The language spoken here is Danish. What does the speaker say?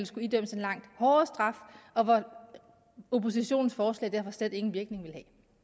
skulle idømmes en langt hårdere straf og hvor oppositionens forslag så slet ingen virkning ville